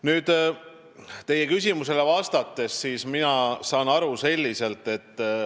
Nüüd vastus teie küsimusele.